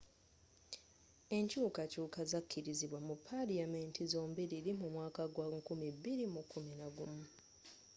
enkyukakyuka zakkirizibwa mu palamenti zombiriri mu mwaka gwa 2011